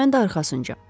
Mən də arxasınca.